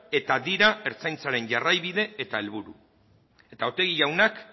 eta dira ertzaintzari jarraibide eta helburu eta otegi jaunak